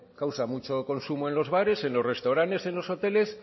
causa mucho consumo en los bares en los restaurantes en los hoteles